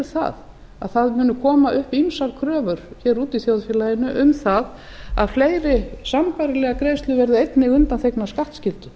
það að það muni koma upp ýmsar kröfur hér úti í þjóðfélaginu um það að fleiri sambærilegar greiðslur verði einni undanþegnar skattskyldu